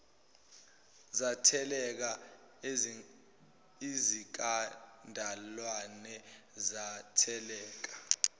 zatheleka ezikadalawane zatheleka